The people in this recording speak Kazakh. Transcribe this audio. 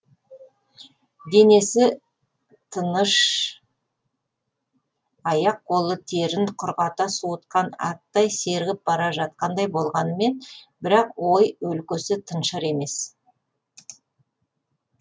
денесі тыныш аяқ қолы терін құрғата суытқан аттай сергіп бара жатқандай болғанымен бірақ ой өлкесі тыншыр емес